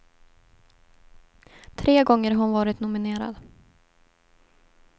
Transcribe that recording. Tre gånger har hon varit nominerad.